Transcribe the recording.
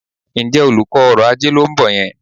Ǹjẹ́ olùkọ́ ọrọ̀-ajé ló ń bọ̀ yẹn?